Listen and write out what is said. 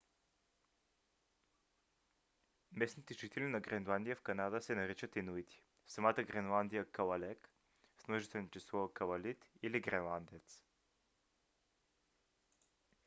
местните жители на гренландия в канада се наричат инуити а в самата гренландия калалек в множествено число калалит или гренландец